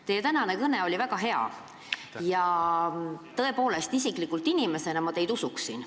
Teie tänane kõne oli väga hea ja isiklikult ma teid tõepoolest usuksin.